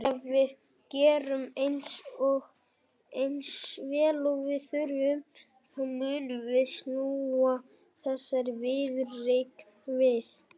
Ef við gerum eins vel og við þurfum þá munum við snúa þessari viðureign við.